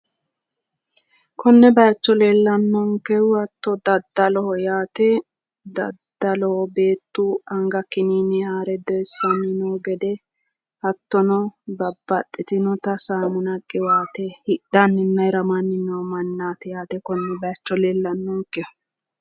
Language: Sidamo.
konne bayiicho leellannohu dadaloho yaate dadaloho beettu anga kiniine haare doyiissanni noo gede hattono babaxitinota saamuna qiwaate hidhanninna hiramanni noo mannaati yaate konne baayiicho leellannonkehu.